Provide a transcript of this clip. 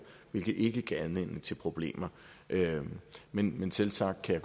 hvilket ikke gav anledning til problemer men men selvsagt kan